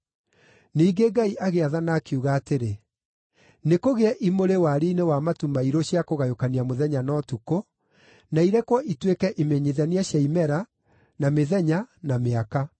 Ningĩ Ngai agĩathana, akiuga atĩrĩ, “Nĩkũgĩe imũrĩ wariĩ-inĩ wa matu mairũ cia kũgayũkania mũthenya na ũtukũ, na irekwo ituĩke imenyithania cia imera, na mĩthenya na mĩaka.